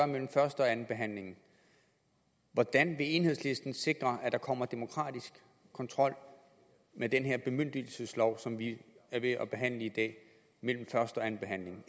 mellem første og anden behandling hvordan vil enhedslisten sikre at der kommer demokratisk kontrol med den her bemyndigelseslov som vi er ved at behandle i dag mellem første og anden behandling